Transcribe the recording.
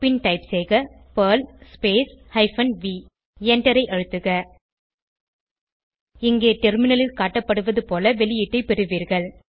பின் type செய்க Perl hyphen v எண்டரை அழுத்துக இங்கே டெர்மினலில் காட்டப்படுவது போல வெளியீட்டை பெறுவீர்கள்